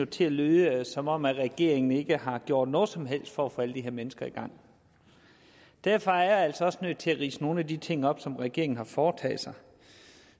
til at lyde som om regeringen ikke har gjort noget som helst for at få alle de her mennesker i gang derfor er jeg altså også nødt til at ridse nogle af de ting op som regeringen har foretaget sig